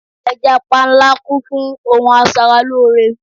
Ẹja panla kún fún ohun asaralóore